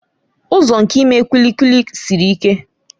Ụzọ nke ime kulikuli siri ike.